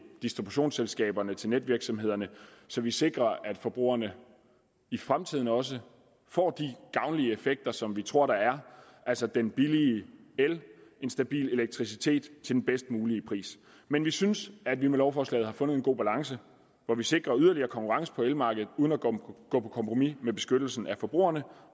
distributionsselskaberne til netvirksomhederne så vi sikrer at forbrugerne i fremtiden også får de gavnlige effekter som vi tror der er altså den billige el en stabil elektricitet til den bedst mulige pris men vi synes at vi med lovforslaget har fundet en god balance hvor vi sikrer yderligere konkurrence på elmarkedet uden at gå på kompromis med beskyttelsen af forbrugerne